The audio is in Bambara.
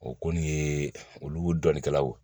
O kɔni ye olu dɔnnikɛlaw